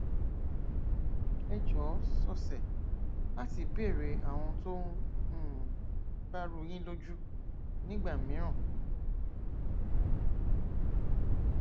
ẹ jọọ sọsẹ láti béèrè àwọn ohun tó um bá rú u yín lójú nígbà mìíràn